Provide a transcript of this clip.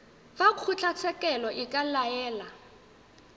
fa kgotlatshekelo e ka laela